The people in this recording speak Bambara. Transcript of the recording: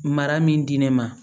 Mara min di ne ma